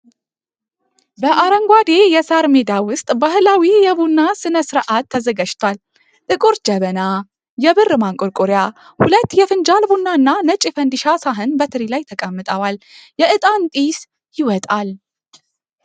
በአረንጓዴ የሳር ሜዳ ውስጥ ባህላዊው የቡና ሥነ ሥርዓት ተዘጋጅቷል። ጥቁር ጀበና፣ የብር ማንቆርቆሪያ፣ ሁለት ፉንጃል ቡና እና ነጭ የፈንዲሻ ሳህን በትሪ ላይ ተቀምጠዋል። የእጣን ጢስ ይወጣል።